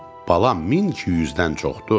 Balam, min ki yüzdən çoxdur.